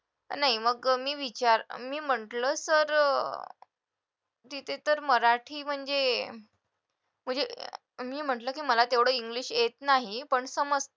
नाही मग मी विचा मी म्हटलं तर अं तिथे तर मराठी म्हणजे आणि म्हटलं की मला तेवढे इंग्लिश येत नाही पण समज